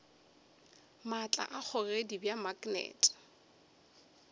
maatla a kgogedi bja maknete